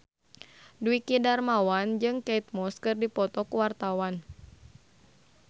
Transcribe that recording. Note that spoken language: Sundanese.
Dwiki Darmawan jeung Kate Moss keur dipoto ku wartawan